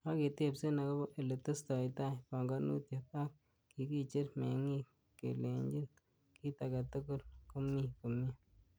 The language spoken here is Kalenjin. Kaketebsen agobo ele testoitaa panganutien, ak kikicher meng'ik kelenyin kit agetugul komi komie.